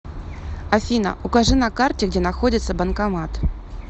афина укажи на карте где находится банкомат